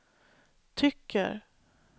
tycker